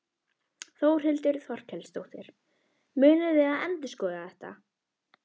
Þórhildur Þorkelsdóttir: Munið þið endurskoða þetta?